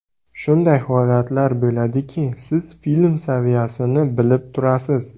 Shunday holatlar bo‘ladiki, siz film saviyasini bilib turasiz.